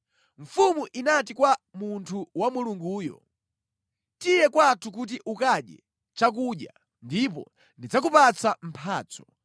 Mfumu inati kwa munthu wa Mulunguyo, “Tiye kwathu kuti ukadye chakudya, ndipo ndidzakupatsa mphatso.”